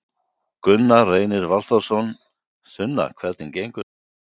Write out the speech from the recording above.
Gunnar Reynir Valþórsson: Sunna hvernig gengur þetta?